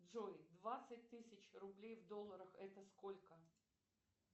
джой двадцать тысяч рублей в долларах это сколько